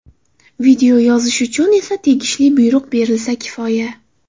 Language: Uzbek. Video yozish uchun esa tegishli buyruq berilsa kifoya.